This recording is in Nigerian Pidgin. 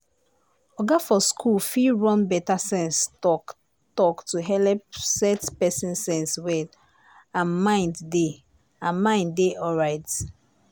oga for school fit run better sense talk-talk to helep set person sense well and mind dey and mind dey alright.